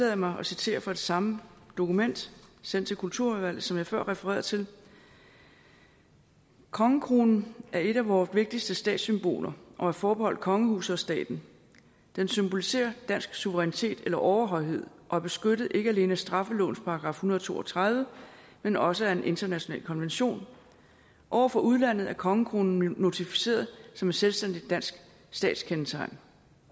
jeg mig at citere fra det samme dokument sendt til kulturudvalget som jeg før refererede til kongekronen er et af vore vigtigste statssymboler og er forbeholdt kongehuset og staten den symboliserer dansk suverænitet eller overhøjhed og er beskyttet ikke alene af straffelovens § en hundrede og to og tredive men også af en international konvention over for udlandet er kongekronen notificeret som et selvstændigt dansk statskendetegn